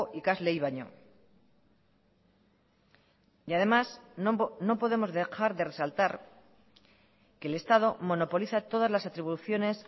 ikasleei baino y además no podemos dejar de resaltar que el estado monopoliza todas las atribuciones